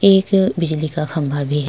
एक बिजली का खंभा भी --